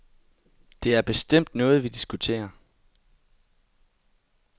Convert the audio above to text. Det er bestemt noget, vi diskuterer.